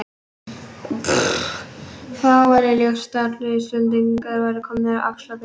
Þá væri ljóst að allir Íslendingar væru komnir af Axlar-Birni.